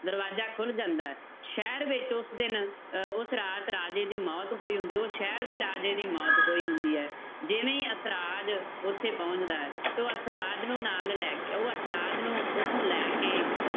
ਦਰਵਾਜ਼ਾ ਖੁੱਲ ਜਾਂਦਾ ਹੈ ਸ਼ਹਿਰ ਵਿੱਚ ਉਸ ਦਿਨ ਅਹ ਉਸ ਰਾਤ ਰਾਜੇ ਦੀ ਮੌਤ ਹੋਈ ਹੁੰਦੀ ਹੈ, ਉਹ ਸ਼ਹਿਰ ਦੇ ਰਾਜੇ ਦੀ ਮੌਤ ਹੋਈ ਹੁੰਦੀ ਹੈ, ਜਿਵੇਂ ਹੀ ਅਸਰਾਜ ਉੱਥੇ ਪਹੁੰਚਦਾ ਹੈ ਤੇ ਉਹ ਅਸਰਾਜ ਨੂੰ ਨਾਲ ਲੈ ਕੇ ਉਹ ਅਸਰਾਜ ਨੂੰ ਉੱਥੋਂ ਲੈ ਕੇ